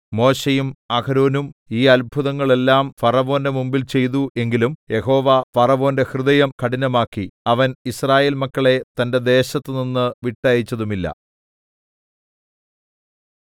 മോശെയും അഹരോനും ഈ അത്ഭുതങ്ങളെല്ലാം ഫറവോന്റെ മുമ്പിൽ ചെയ്തു എങ്കിലും യഹോവ ഫറവോന്റെ ഹൃദയം കഠിനമാക്കി അവൻ യിസ്രായേൽ മക്കളെ തന്റെ ദേശത്ത് നിന്ന് വിട്ടയച്ചതുമില്ല